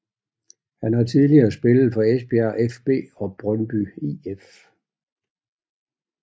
Han har tidligere spillet for Esbjerg fB og Brøndby IF